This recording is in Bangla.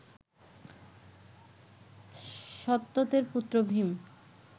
সত্ত্বতের পুত্র ভীম